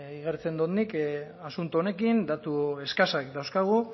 igartzen dut nik asunto honekin datu eskasak dauzkagu